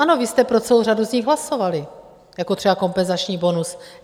Ano, vy jste pro celou řadu z nich hlasovali, jako třeba kompenzační bonus.